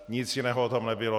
Nic jiného tam nebylo.